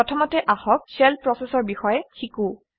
প্ৰথমতে আহক shell process অৰ বিষয়ে শিকোঁ